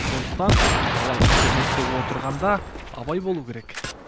сондықтан бала интернетте отырғанда абай болуы керек